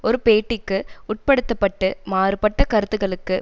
ஒரு பேட்டிக்கு உட்படுத்த பட்டு மாறுபட்ட கருத்துக்களுக்கு